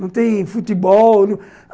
Não tem futebol.